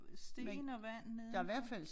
Sten og vand nede der